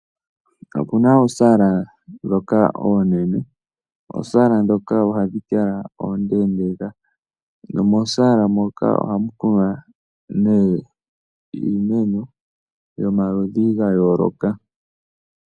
Opu na oosaala ndhoka oonene. Oosaala ndhoka ohadhi kala oondeendeeka nomoosaala moka ohamu kunwa nee iimeno yomaludhi ga yooloka.